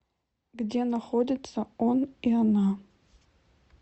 где находится он и она